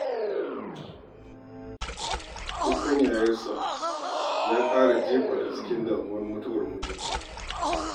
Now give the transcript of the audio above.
Kukan 'ya'yansa ya ƙara jefa ta cikin damuwar mutuwar mijinta.